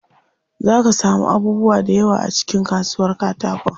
Zaa ka samu abubuwa da yawa a cikin kasuwar katakon.